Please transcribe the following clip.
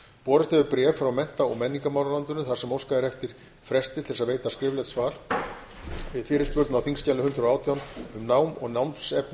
borist hefur bréf frá mennta og menningarmálaráðuneytinu þar sem óskað er eftir fresti til að veita skriflegt svar við fyrirspurn á þingskjali hundrað og átján um nám og námsefni